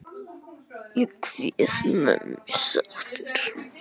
Ég kveð mömmu sáttur.